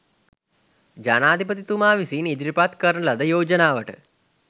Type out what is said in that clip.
ජනාධිපතිතුමා විසින් ඉදිරිපත් කරන ලද යෝජනාවට